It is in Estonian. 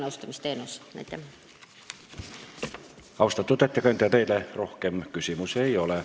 Austatud ettekandja, teile rohkem küsimusi ei ole.